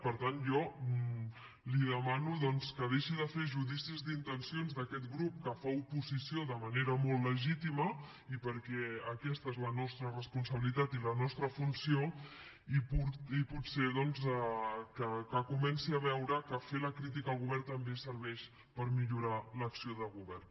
per tant jo li demano que deixi de fer judicis d’intencions d’aquest grup que fa oposició de manera molt legítima i perquè aquesta és la nostra responsabilitat i la nostra funció i potser que comenci a veure que fer la crítica al govern també serveix per millorar l’acció de govern